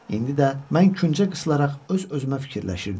İndi də mən küncə qısılaraq öz-özümə fikirləşirdim.